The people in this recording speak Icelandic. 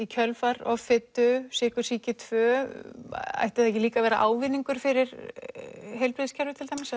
kjölfar offitu sykursýki tvö ætti það ekki líka að vera ávinningur fyrir heilbrigðiskerfið til dæmis